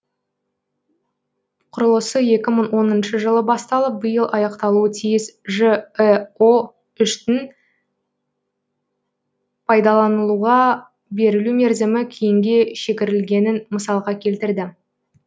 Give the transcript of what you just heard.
құрылысы екі мың оныншы жылы басталып биыл аяқталуы тиіс жэо үштің пайдаланылуға берілу мерзімі кейінге шегерілгенін мысалға келтірді